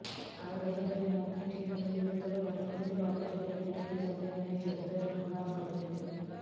ଆଉ ଏହାପରେ ମନ୍ତ୍ରୀ ଠିକ ଭାବେ ଉତ୍ତର ରଖୁନଥିବା ଅଭିଯୋଗରେ ବିରୋଧୀ ସଭ୍ୟମାନେ ଜୋରଦାର ହଙ୍ଗାମା କରିଥିଲେ